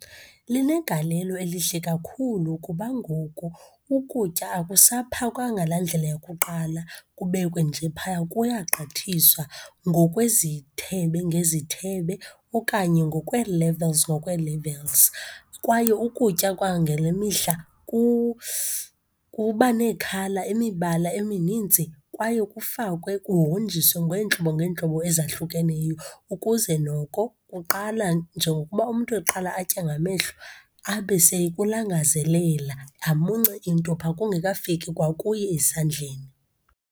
Linegalelo elihle kakhulu kuba ngoku ukutya akusaphakwa ngalaa ndlela yakuqala kubekwe nje phaya, kuyagqithiswa ngokwezithebe ngezithebe, okanye ngokwe-levels ngokwe-levels. Kwaye ukutya kwangele mihla kuba nee-colour imibala eminintsi, kwaye kufakwe, kuhonjiswe ngeentlobo ngeentlobo ezahlukeneyo, ukuze noko kuqala, njengokuba umntu eqala atya ngamehlo, abe sekulangazelela, amunce intupha, kungekafiki kwakuye esandleni.